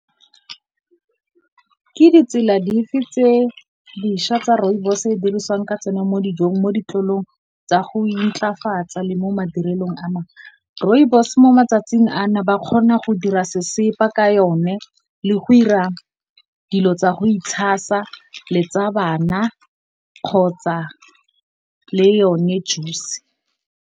Ke ditsela dife tse dišwa tsa Rooibos e dirisiwang ka tsona mo dijong, mo ditlolong tsa go intlafatsa le mo madirelong a mangwe? Rooibos mo matsatsing a, ba kgona go dira sesepa ka yone le go ira dilo tsa go itshasa, le tsa bana kgotsa le yone juice.